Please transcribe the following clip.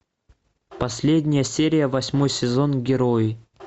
последняя серия восьмой сезон герои